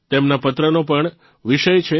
તેમના પત્રનો પણ વિષય છે